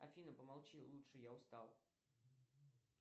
афина помолчи лучше я устал